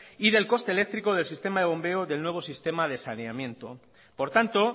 y del coste eléctrico del sistema de bombeo del nuevo sistema de saneamiento por tanto